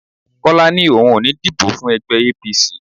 Kọ́lá ní òun ò ní díbó fún ẹgbẹ́ APC.